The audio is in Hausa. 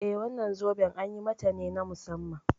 Eh wannan zoben an yi mata ne na musamman.